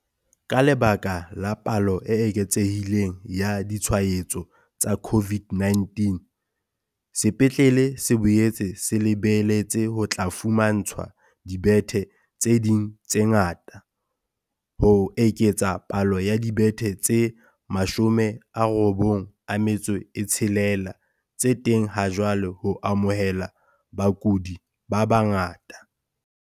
Ka lebaka la palo e eketsehi leng ya ditshwaetso tsa CO VID-19, sepetlele se boetse se le beletse ho tla fumantshwa dibethe tse ding tse ngata, ho eketsa palo ya dibethe tse 96 tse teng ha jwale ho amohela bakudi ba bangata.